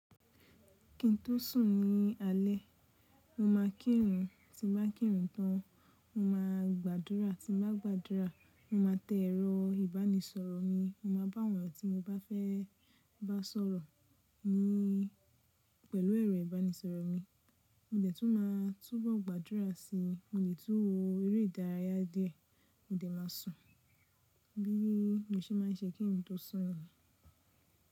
Ki n tó sùn ní alé, mo ma kírun, tí n bá kírun tán, mo ma gbàdúrà, tí n bá gbàdúrà, mo ma tẹ ẹ̀rọ ìbánisọ̀rọ̀ mi, mo ma bá àwọn tí mo bá fẹ́ bá sọ̀rọ̀ ní pẹ̀lú ẹ̀rọ ìbánisọ̀rọ̀ mi, mo dẹ̀ tún máa túbọ̀ gbàdúrà sí i, mo dẹ̀ tún wo eré ìdárayá dé, mo dẹ̀ má sùn. Bí mo ṣe má n ṣe kí n tó sùn níyen.